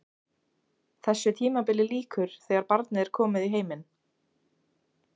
Þessu tímabili lýkur þegar barnið er komið í heiminn.